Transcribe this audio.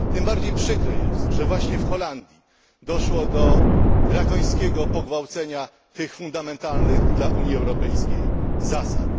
Tym bardziej przykre jest, że właśnie w Holandii doszło do drakońskiego pogwałcenia tych fundamentalnych dla Unii Europejskiej zasad.